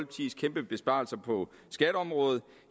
besparelser på skatteområdet